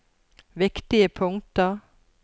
viktige punkter